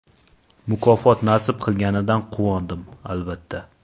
Mukofot nasib qilganidan quvondim, albatta.